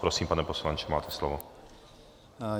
Prosím, pane poslanče, máte slovo.